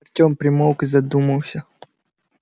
артём примолк и задумался